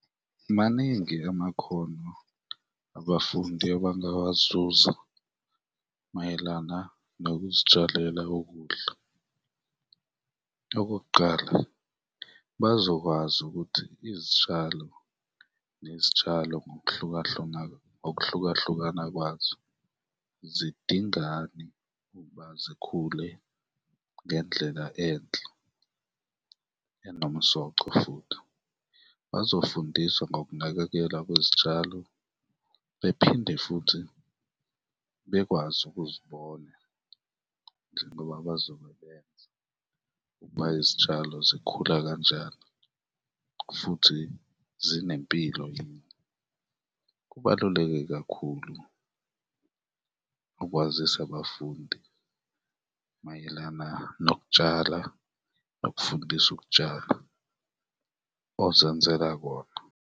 Maningi amakhono abafundi abangawazuza mayelana nokuzitshalela ukudla. Okokuqala, bazokwazi ukuthi izitshalo nezitshalo ngokuhlukahlukana, ngokuhlukahlukana kwazo zidingani ukuba zikhule ngendlela enhle enomsoco futhi, bazofundiswa ngokunakekela kwezitshalo bephinde futhi bekwazi ukuzibona njengoba bazobebenza ukuba izitshalo zikhula kanjani futhi zinempilo yini. Kubaluleke kakhulu ukwazisa abafundi mayelana nokutshala, bakufundise ukutshala ozenzela kona.